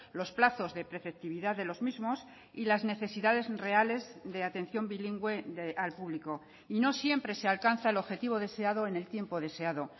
los plazos de preceptividad de los mismos y las necesidades reales de atención bilingüe al público y no siempre se alcanza el objetivo deseado en el tiempo deseado